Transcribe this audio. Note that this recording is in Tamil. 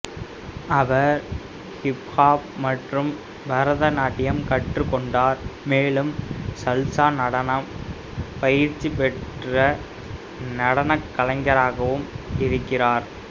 அவர் ஹிப்ஹாப் மற்றும் பரதநாட்டியம் கற்றுக் கொண்டார் மேலும் சல்சா நடனம் பயிற்சி பெற்ற நடன கலைஞராகவும் இருக்கிறார்